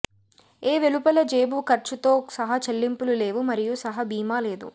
ఏ వెలుపల జేబు ఖర్చుతో సహ చెల్లింపులు లేవు మరియు సహ భీమా లేదు